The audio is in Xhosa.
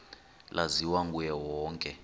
laziwa nguye wonke